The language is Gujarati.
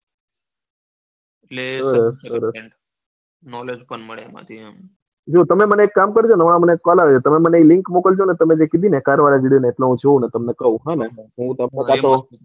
એટલે સરસ knowledge પણ મળે એમાંથી એમ તમે મને એક કામ કરજોને તમે મને એ link મોક્લજોને તમે જે કીધી કરવાની એટલે હું જોઉં ને તમને કહું હોને હું,